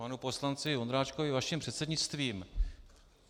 Panu poslanci Vondráčkovi vaším předsednictvím.